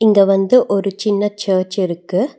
இது வந்து ஒரு சின்ன சர்ச் இருக்கு.